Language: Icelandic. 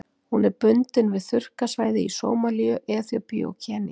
Hún er bundin við þurrkasvæði í Sómalíu, Eþíópíu og Kenýa.